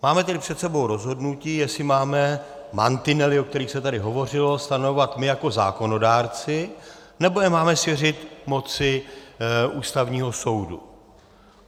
Máme tady před sebou rozhodnutí, jestli máme mantinely, o kterých se tady hovořilo, stanovovat my jako zákonodárci, nebo je máme svěřit moci Ústavního soudu.